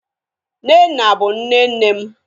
nnenna bu nne nnem